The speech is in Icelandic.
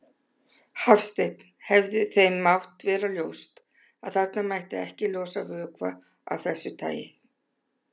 Hafsteinn: Hefði þeim mátt vera ljóst að þarna mætti ekki losa vökva af þessu tagi?